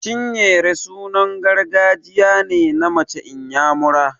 Chinyere sunan gargajiya ne na mace inyamura.